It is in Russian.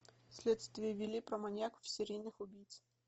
следствие вели про маньяков и серийных убийц